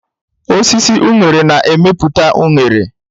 Osisi unere na-emepụta unere.